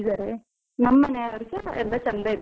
ನಮ್ಮನೆಯವ್ರುಸ ಎಲ್ಲ ಚಂದ ಇದ್ದಾರೆ.